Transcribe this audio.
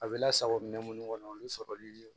A bɛ lasago minɛn minnu kɔnɔ olu sɔrɔli